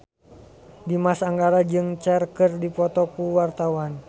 Dimas Anggara jeung Cher keur dipoto ku wartawan